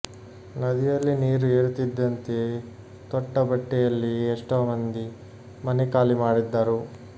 ನದಿಯಲ್ಲಿ ನೀರು ಏರುತ್ತಿದ್ದಂತೆಯೇ ತೊಟ್ಟ ಬಟ್ಟೆಯಲ್ಲಿಯೇ ಎಷ್ಟೋ ಮಂದಿ ಮನೆ ಖಾಲಿ ಮಾಡಿದ್ದರು